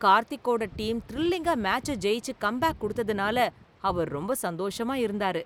கார்த்திகோட team திரில்லிங்கா மேட்ச ஜெயிச்சு கம்பேக் குடுத்ததுனால அவர் ரொம்ப சந்தோஷமா இருந்தாரு.